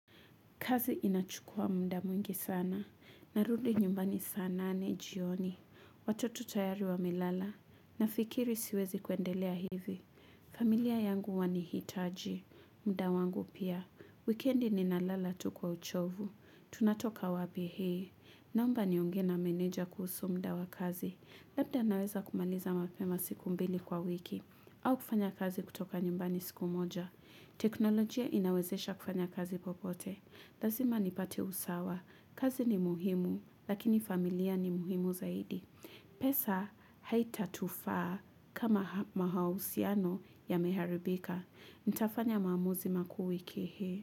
Kazi inachukua muda mwingi sana, narudi nyumbani saa nane jioni, watoto tayari wamelala, nafikiri siwezi kuendelea hivi. Familia yangu wanihitaji, muda wangu pia, wikendi ninalala tu kwa uchovu, tunatoka wapi hee, naomba nionge na meneja kuhusu muda wa kazi. Labda naweza kumaliza mapema siku mbili kwa wiki, au kufanya kazi kutoka nyumbani siku moja. Teknolojia inawezesha kufanya kazi popote. Lazima nipate usawa. Kazi ni muhimu, lakini familia ni muhimu zaidi. Pesa haitatufaa kama mahusiano yameharibika. Nitafanya maamuzi makuu wiki hii.